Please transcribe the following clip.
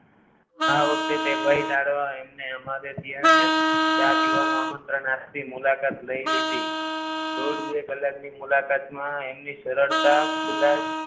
આ વખતે તે ભય કાઢવા એમને અમારે ત્યાં જ ચા પીવાનું આમંત્રણ આપી મુલાકાત લઈ લીધી બે કલાકની મુલાકાત માં એમની સરળતા